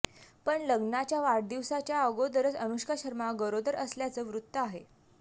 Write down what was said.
पण लग्नाच्या वाढदिवसाच्या अगोदरच अनुष्का शर्मा गरोदर असल्याचं वृत्त आहे